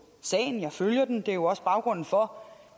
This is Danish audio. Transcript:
sagen jeg følger den og det er jo også baggrunden for